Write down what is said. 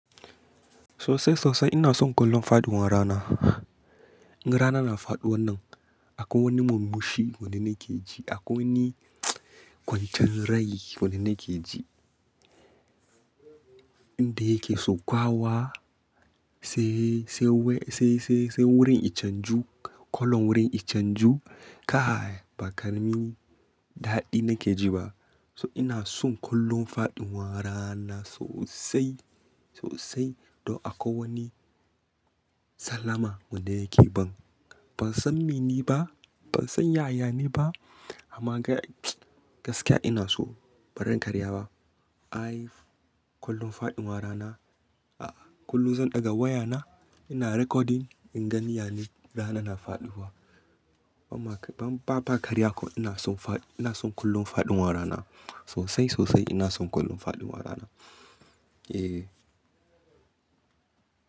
Sosai sosai ina son kallon faɗuwar rana. Inga rana na faɗuwa nan akwai wani murmushi wanda muke ji, akwai wani kwancin rai wanda nake ji. Inda yake sau kwawa sai, sai, sai wurin ya canju, kallon wurin ya canju ka ba ƙaramin daɗi nake ji ba. So ina son kallon faɗin warana sosai sosai. Don akwai wani salama wanda yake ban. Ban san me ne ba, ban san yaya ne ba amma gaskiya ina so. Bari in karya ba. I, kallon faɗuwan rana a kullum zan ɗaga wayana ina recording in gani yane rana na faɗuwa. Amma ba, ba karya ko ina son faɗi, ina son kullon faɗuwan rana sosai sosai ina son kullon faɗuwan rana. Eh.